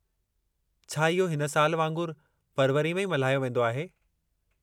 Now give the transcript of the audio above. छा इहो हिन साल वांगुरु फ़रवरीअ में ई मल्हायो वेंदो आहे?